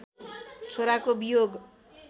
छोराको वियोग